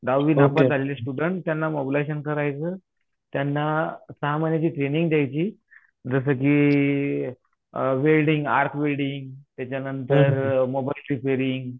दहावी नापास झालेले स्टुडन्ट त्यांना मॉबलायजेशन करायचं. त्यांना सहा महिन्याची ट्रेनिंग द्यायची जसं की वेल्डिंग आर्क वेल्डिंग, त्याच्या नंतर मोबाईल रिपेअरिंग